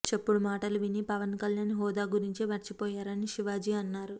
చెప్పుడు మాటలు విని పవన్ కల్యాణ్ హోదా గురించి మర్చిపోయారని శివాజీ అన్నారు